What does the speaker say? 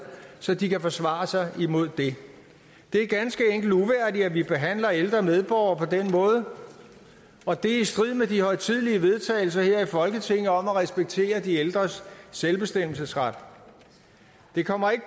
så de kan forsvare sig imod det det er ganske enkelt uværdigt at vi behandler ældre medborgere på den måde og det er i strid med de højtidelige vedtagelser her i folketinget om at respektere de ældres selvbestemmelsesret det kommer ikke